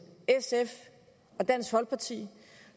sf og dansk folkeparti